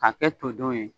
K'a kɛ to don ye